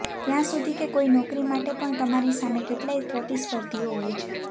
ત્યાં સુધી કે કોઈ નોકરી માટે પણ તમારી સામે કેટલાય પ્રતિસ્પર્ધીઓ હોય છે